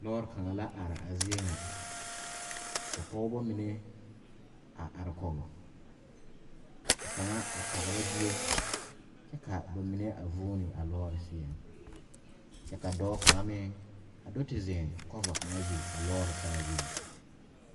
Lɔɔre kaŋ la a are a zie ŋa ka pɔgeba mine a are kɔge ka kaŋa a tagra bie kyɛ ka ba mine a vuune a lɔɔre seɛŋ kyɛ ka dɔɔ kaŋa meŋ a do te zeŋ kɔva kaŋa zu a lɔɔre saazu.